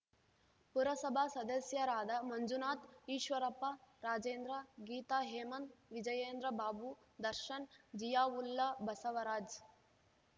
ಪುರಸಭಾ ಸದಸ್ಯರಾದ ಮಂಜುನಾಥ್‌ ಈಶ್ವರಪ್ಪ ರಾಜೇಂದ್ರ ಗೀತಾ ಹೇಮಂತ್‌ ವಿಜಯೇಂದ್ರ ಬಾಬು ದರ್ಶನ್‌ ಜಿಯಾವುಲ್ಲಾ ಬಸವರಾಜ್‌